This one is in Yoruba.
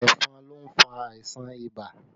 Ẹ̀fọn ló fà àìsàn ibà